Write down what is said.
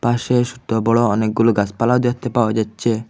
সে ছোটবড় অনেকগুলো গাসপালাও দেখতে পাওয়া যাচ্ছে।